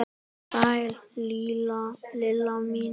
Sæl Lilla mín!